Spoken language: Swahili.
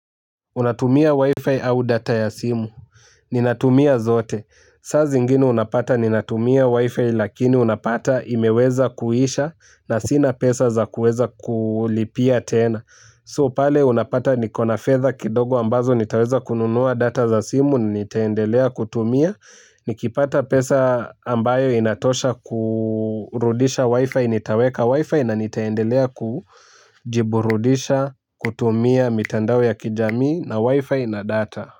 Unatumia wifi au data ya simu. Ninatumia zote. Sa zingine unapata ninatumia wifi lakini unapata imeweza kuisha na sina pesa za kuweza kulipia tena. So pale unapata nikona fedha kidogo ambazo nitaweza kununua data za simu nitaendelea kutumia. Nikipata pesa ambayo inatosha kurudisha wifi nitaweka wifi na nitaendelea kujiburudisha kutumia mitandao ya kijamii na wifi na data.